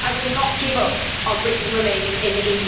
I will not give up on Britain remaining in the